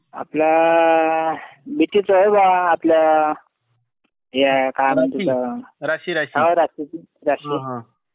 आपल्या आपल्या ह्या काय म्हणता, हो राशीची राशी